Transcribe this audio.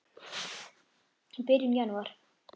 í byrjun janúar.